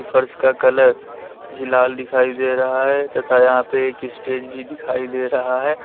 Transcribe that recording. फर्श का कलर भी लाल दिखाई दे रहा है तथा यहां पे एक स्टेज भी दिखाई दे रहा है।